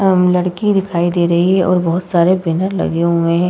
अम् लड़की दिखाई दे रही है और बहोत सारे बैनर लगे हुए हैं।